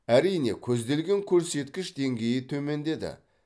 әрине көзделген көрсеткіш деңгейі төмендеді